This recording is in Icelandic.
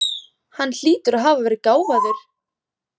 Hann hlýtur að hafa verið gáfaður.